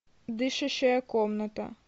дышащая комната